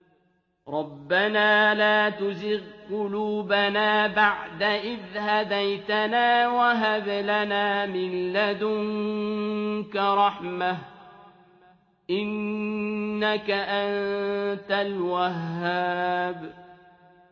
رَبَّنَا لَا تُزِغْ قُلُوبَنَا بَعْدَ إِذْ هَدَيْتَنَا وَهَبْ لَنَا مِن لَّدُنكَ رَحْمَةً ۚ إِنَّكَ أَنتَ الْوَهَّابُ